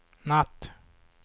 natt